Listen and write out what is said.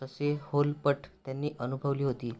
ससेहोलपट त्यांनी अनुभवली होती